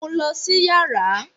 Mu u lọ si yara!